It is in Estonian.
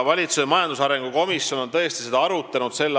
Valitsuse majandusarengu komisjon tõesti arutas s.